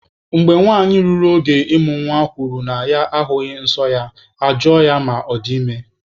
Mgbe nwanyị ruru oge ịmụ nwa kwuru na ya ahụghị nsọ ya, aga-ajụ ya ma ọ dị ime.